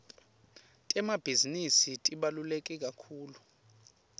temabhizinisi tibaluleke kakhulu